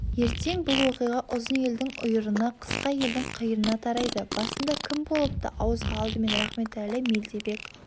ертең бұл оқиға ұзын елдің ұйырына қысқа елдің қиырына тарайды басында кім болыпты ауызға алдымен рахметәлі-мелдебек